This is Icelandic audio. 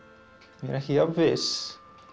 er ekki jafnviss